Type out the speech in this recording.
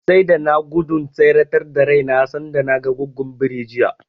Sai da na nai gudun tseretar da raina sanda naga Goggon birin jiya.